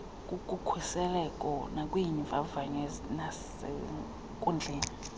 kukhuseleko nakwiimvavanyo zasenkundleni